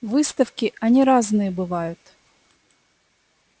выставки они разные бывают